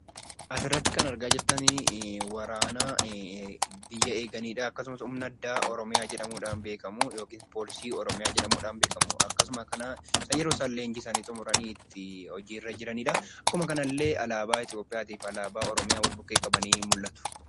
Asirratti kan argaa jirtani waraana biyya eeganidha. Akkasumas humna addaa Oromiyaa jedhamuun beekamu yookiis poolisii Oromiyaa jedhamuun beekamu. Akkasuma kana isa isaan leenjisanii xumuranii itti hojii irra jiranidha. Akkuma kanallee alaabaa Itoophiyaati fi alaabaa Oromiyaa wal bukkee qabanii mul'atu.